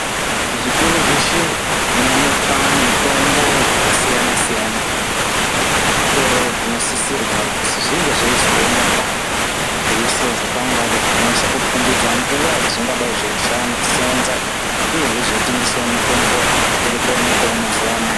Muzvitoro zveshe munoonekwa mitombo yakasiyana siyana. Zvitoro zvinosisira kuzi zvinge zveizoonekwa zveiiswawo zvikwangari zvinonyasa kukombidza nguwa yazvingadai zveiseenza uye zveitengesawo mitombo irikuonekwawo mazuwa anaya.